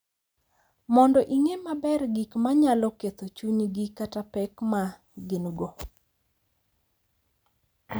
Mondo ing’e maber gik ma nyalo ketho chunygi kata pek ma gin-go,